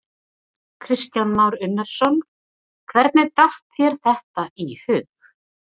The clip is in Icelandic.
Kristján Már Unnarsson: Hvernig datt þér þetta í hug?